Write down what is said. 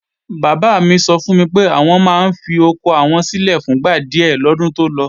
Bàbá mi sọ fún mi pé, àwọn máa ń fi oko àwọn sílè fún gba díè lọ́dún tó lọ